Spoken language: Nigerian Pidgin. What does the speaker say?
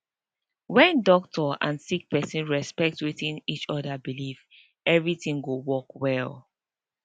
wen doctor and sick pesin respect wetin each oda believe everything go work well